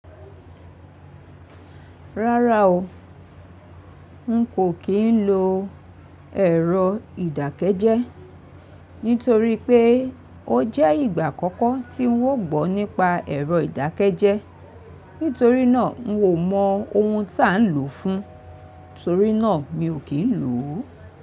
Rárá o, n kò kí ń lo ẹ̀rọ ìdákẹ́jẹ́ nítorí pé ó jẹ́ ìgbà àkọ́kọ́ tí ń wò gbọ́ nípa ẹ̀rọ ìdákẹ́jẹ́. Nítorí náà, mi ò mọ ohun tí à ń lò ó fún, torí náà mi ò kí ń lò ó.